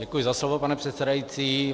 Děkuji za slovo, pane předsedající.